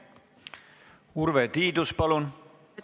Urve Tiidus, palun!